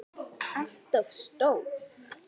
ALLT OF STÓR!